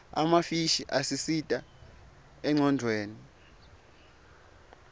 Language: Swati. emafishi asisita engcondvweni